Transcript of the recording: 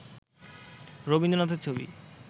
রবীন্দ্রনাথের ছবি